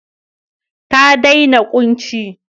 Ta dena kunci.